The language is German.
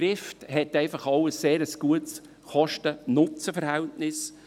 Trift hat einfach auch ein sehr gutes Kosten-Nutzen-Verhältnis.